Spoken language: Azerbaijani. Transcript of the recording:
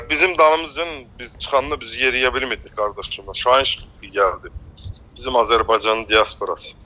Bizim dalımızca, biz çıxanda biz yeriyə bilmirdik qardaşımla, Şahin çıxdı gəldi, bizim Azərbaycanın diasporası.